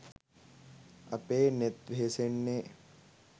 අපේ නෙත් වෙහෙසෙන්නේ